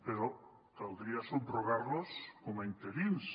però caldria subrogar los com a interins